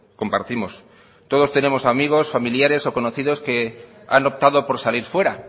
compartimos todos tenemos amigos familiares o conocidos que han optado por salir fuera